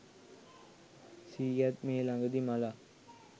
සීයත් මේ ළඟදී මලා